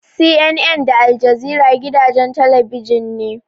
CNN da Aljazeera gidajen talabijin ne.